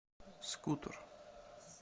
скутер